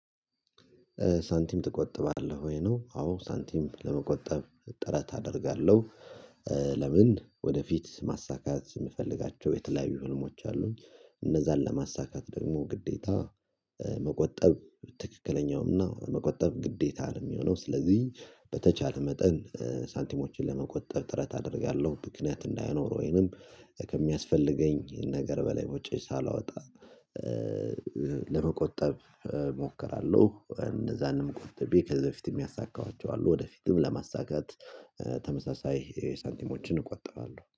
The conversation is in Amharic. ሳንቲም ትቆጥባለህ ወይ ነው? አዎ ሳንቲም ለመቆጠብ ጥረት አደርጋለሁ። ለምን ወደፊት ማሳካት የምፈልጋቸው የተለያዩ ህልሞች አሉኝ። እነዛን ለማሳካት ደግሞ ግዴታ መቆጠብ ትክክለኛውን እና መቆጠብ ግዴታ ነው የሚሆነው። ስለዚህ በተቻለ መጠን ሳንቲሞችን ለመቆጠብ ጥረት አደርጋለሁ ምክንያት እንዳይኖር ወይንም ከሚያስፈልገኝ ነገር በላይ ውጪ ሳላወጣ ለመቆጠብ እሞክራለሁ። እንደዛ ደሞ ቆጥቤ ከዚህ በፊትም ያሳካኋቸው አሉ ወደፊትም ለማሳካት ተመሳሳይ ሳንቲሞችን እቆጥባለሁ